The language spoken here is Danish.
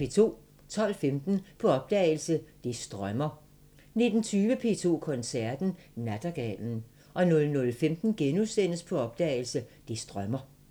12:15: På opdagelse – Det strømmer 19:20: P2 Koncerten – Nattergalen 00:15: På opdagelse – Det strømmer *